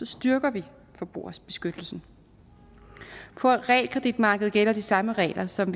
styrker vi forbrugerbeskyttelsen på realkreditmarkedet gælder de samme regler som